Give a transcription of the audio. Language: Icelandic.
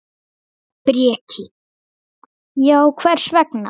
Breki: Já, hvers vegna?